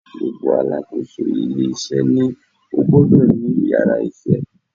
Gbogbo Alákóso ilé isé ni ó gbodò ní yàrá isé